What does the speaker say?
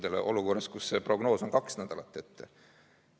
Pragu oleme olukorras, kus see prognoos on kaks nädalat ette.